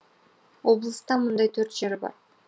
облыста мұндай төрт жер бар